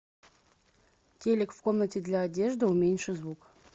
телик в комнате для одежды уменьши звук